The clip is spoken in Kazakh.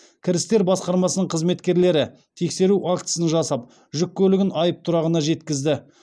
кірістер басқармасының қызметкерлері тексеру актісін жасап жүк көлігін айыптұрағына жеткізді